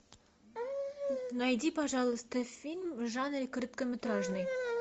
найди пожалуйста фильм в жанре короткометражный